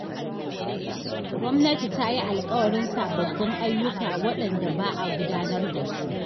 Gwamnati ta yi alƙawarin sababbin ayyuka waɗanda ba a gudanar da su.